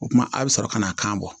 O kumana a bɛ sɔrɔ ka na kan bɔ